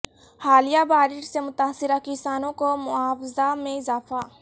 حالیہ بارش سے متاثرہ کسانوں کو معاوضہ میں اضافہ